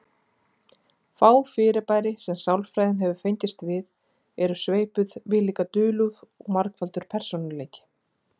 Fá fyrirbæri sem sálfræðin hefur fengist við eru sveipuð viðlíka dulúð og margfaldur persónuleiki.